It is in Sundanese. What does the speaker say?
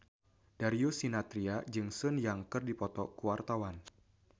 Darius Sinathrya jeung Sun Yang keur dipoto ku wartawan